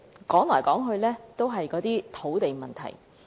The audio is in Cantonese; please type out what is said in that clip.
說來說去，都是土地供應問題。